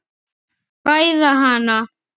Ræða hana.